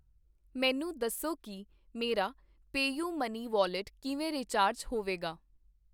ਮੈਨੂੰ ਦੱਸੋ ਕੀ ਮੇਰਾ ਪੇਯੁਮਨੀ ਵੌਲਿਟ ਕਿਵੇਂ ਰਿਚਾਰਜ ਹੋਏਗਾ